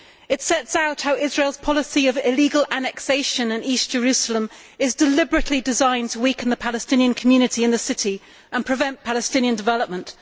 It sets out how Israel's policy of illegal annexation of East Jerusalem is deliberately designed to weaken the Palestinian community in the city and prevent Palestinian development.